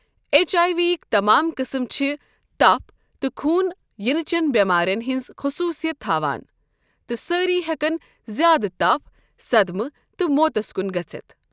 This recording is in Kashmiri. ایچ آیہ ویکۍ تمام قٕسم چھِ تپھ تہٕ خوٗن یِنچٮ۪ن بٮ۪مارِٮ۪ن ہٕنٛز خصوٗصیت تھاوان تہٕ سٲرۍ ہیكن زِیٛادٕ تپھ، صدمہٕ تہٕ موتَس کُن گژھِتھ ۔